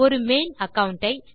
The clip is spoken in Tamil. ஒரு மெயில் அகாவுண்ட் ஐ